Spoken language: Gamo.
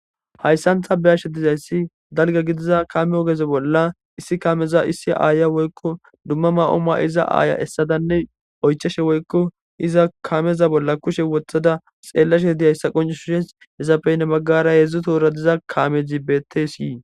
Hayssan tani be'ashe diza issi aho giddiza kame oge bolla issi ayyiya woykko dumma dumma mayo mayida ayay esadane oyichase woykko iza kameza bolla kushe wotada xeelashe diza issa qoncisishe ippe hinni baggara diza kame beettes.